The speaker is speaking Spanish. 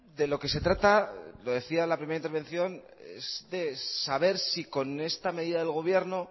de lo que se trata lo decía en la primera intervención es de saber si con esta medida del gobierno